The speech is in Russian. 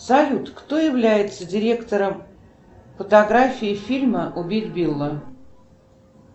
салют кто является директором фотографии фильма убить билла